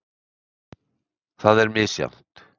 Það er misjafnt.